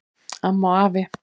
Amma og afi